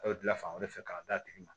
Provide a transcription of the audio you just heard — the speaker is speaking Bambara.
A bɛ dilan fan wɛrɛ fɛ k'a d'a tigi ma